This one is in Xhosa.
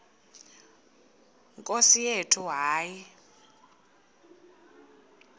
nkosi yethu hayi